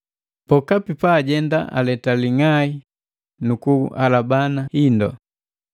Pokapi pa ajenda aleta ling'ai nuku kuhalabana hindu.